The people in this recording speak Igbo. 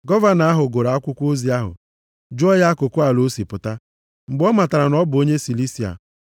Gọvanọ ahụ gụrụ akwụkwọ ozi ahụ, jụọ ya akụkụ ala o si pụta. Mgbe ọ matara na ọ bụ onye Silisia,